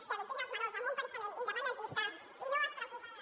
que adoctrina els menors en un pensament independentista i no es preocupa de la